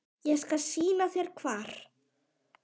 Ég skal sýna þér hvar.